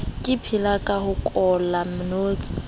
le phelaka ho kolla ntsi